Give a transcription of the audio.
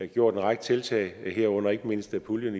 gjort en række tiltag herunder ikke mindst puljen